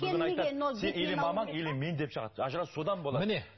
сен или мамаң или мен деп шығады ажырасу содан болады